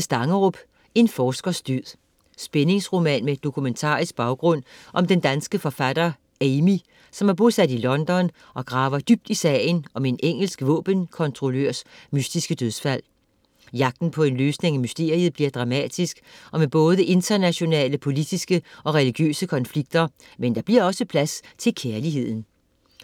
Stangerup, Helle: En forskers død Spændingsroman med dokumentarisk baggrund om den danske forfatter Amy, som er bosat i London og graver dybt i sagen om en engelsk våbenkontrollørs mystiske dødsfald. Jagten på en løsning af mysteriet bliver dramatisk og med både internationale politiske og religiøse konflikter, men der bliver også plads til kærligheden.